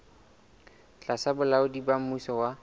tlasa bolaodi ba mmuso wa